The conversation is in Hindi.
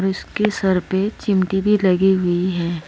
इसके सर पे चिमटी भी लगी हुई है।